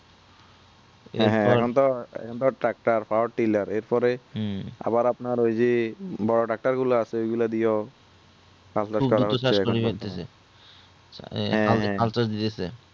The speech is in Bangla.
এখন তো এখন তো tractor আর টিলার এরপরে আবার আপনার ওই যে বড়ো tractor গুলো আসে ঐগুলো দিয়েও চাষ বাস করা হচ্ছে